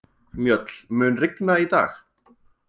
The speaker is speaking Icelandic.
Mjöll, mun rigna í dag?